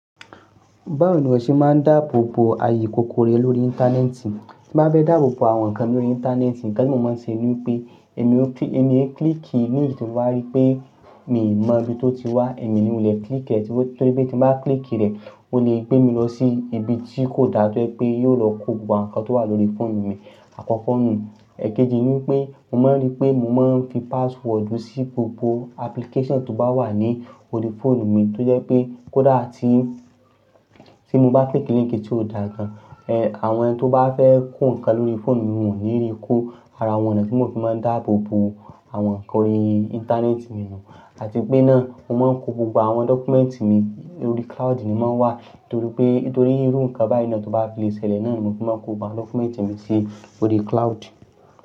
Báwo ni o ṣe máa ń dáàbò bo ààyè kòkòrò lórí ìntanẹ́ẹ̀tì? Tí mo bá fẹ́ dáàbò bo àwọn nǹkan lórí ìntanẹ́ẹ̀tì, nǹkan tí mo máa ń ṣe ni pé èmi ó kí-- èmi ń klíìkì línkì tí mo rí pé mi mọ ibi tó ti wá, èmi ni ò lè klíìkì rẹ̀ torí pé tí mo bá klíìkì rẹ̀, ó lè gbé mi lọ sí ibi tí kò dáa tí ó jẹ́ pé yóò lọ kó gbogbo àwọn nǹkan tó wà lórí fóònù mi àkọ́kọ́ nù. Ẹ̀keji ni pé mo máa ń rí pé mo máa ń fi password sí gbogbo application tó bá wà ní orí fóònù mi torí pé kó dáa tí, tí mo bá klíìkì línkì tí ò dáa gan, ẹ́, àwọn ẹni tó bá fẹ́ kó nǹkan lórí fóònù mi wọ́n ò ní rí ikú. Ara àwọn ọ̀nà tí mo fi máa ń dáàbò bo àwọn nǹkan orí ìntanẹ́ẹ̀tì mi ni àti pé náà mo máa ń kó gbogbo àwọn dọ́kúmẹ́ǹtì mi lórí cloud ni mo máa ń wà torí pé-- torí irú nǹkan báyìí náà tó bá fi le ṣẹlẹ̀ náà ni mo fi máa ń kó gbogbo dọ́kúmẹ́ǹtì mi sí orí cloud.